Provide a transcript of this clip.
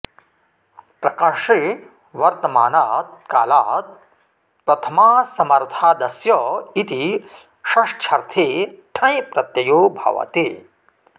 प्रकर्षे वर्तमानात् कालात् प्रथमासमर्थादस्य इति षष्ठ्यर्थे ठञ् प्रत्ययो भवति